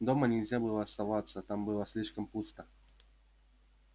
дома нельзя было оставаться там было слишком пусто